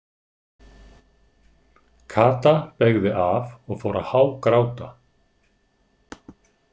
Kata beygði af og fór að hágráta.